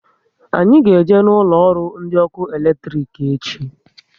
Anyị ga eje na ụlọ ọrụ ndị ọkụ eletrik echi